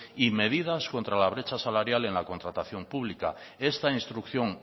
y medidas contra la brecha salarial en la contratación pública esta instrucción